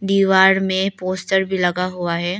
दीवार में पोस्टर भी लगा हुआ है।